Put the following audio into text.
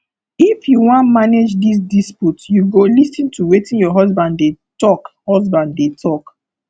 if you wan manage dis dispute you go lis ten to wetin your husband dey tok husband dey tok